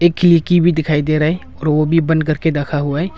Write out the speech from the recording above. इक खिलकी भी दिखाई दे रहा है और वो भी बंद करके रखा हुआ है।